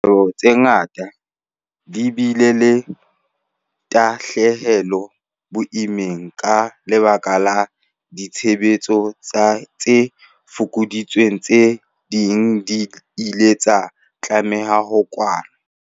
Dikgwebo tse ngata di bile le tahlehelo e boima ka lebaka la ditshebetso tse fokoditsweng. Tse ding di ile tsa tlameha ho kwalwa.